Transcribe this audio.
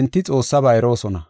enti Xoossaba eroosona.